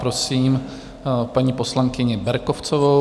Prosím paní poslankyni Berkovcovou.